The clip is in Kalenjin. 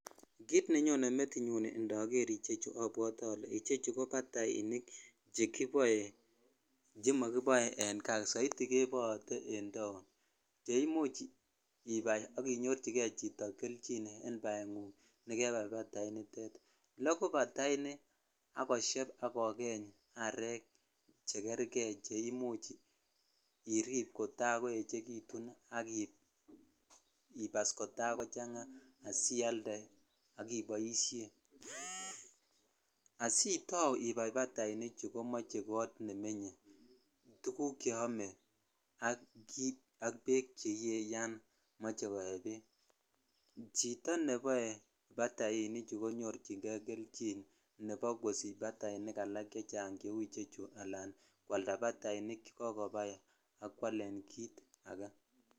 Kiit nenyone metinyun indoker ichechu obwote olee ichechu ko batainik chekiboe chemokiboe en kaa soiti keboote en taon cheimuch ibai ak inyorchikee chito kelchin en baengung nekebai bainitet, lokuu bataini ak kosheb ak kokeny areek chekerke cheimuch iriib kotakoechekitun ak ibas kotakochanga asialde ak iboishen, asitau ibai batainichu komoche koot nemenye, tukuk cheome ak beek cheyee yoon moche koee beek, chito neboe batainichu konyorching'e kelchin nebo kosich batainik alak chechang cheu ichechu alaan kwalda batainik chekokobai ak kwaleen kiit akee.